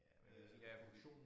Ja man kan sige ja fordi